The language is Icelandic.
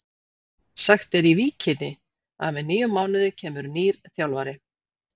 Sagt er í Víkinni að með nýjum mánuði kemur nýr þjálfari.